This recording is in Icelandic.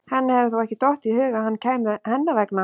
Henni hefur þó ekki dottið í hug að hann kæmi hennar vegna?